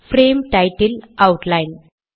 frame title outline